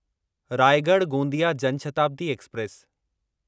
Raigad Gondia Jan Shatabdi express